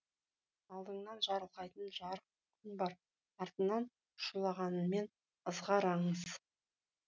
алдыңнан жарылқайтын жарық күн бар артыңнан шулағанмен ызғар аңыз